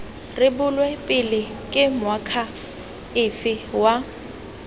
rebolwe pele ke moakhaefe wa